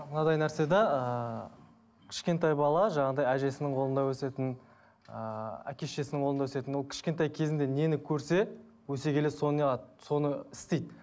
мынадай нәрсе де ыыы кішкентай бала жаңағындай әжесінің қолында өсетін ыыы әке шешесінің қолында өсетін ол кішкентай кезінде нені көрсе өсе келе соны соны істейді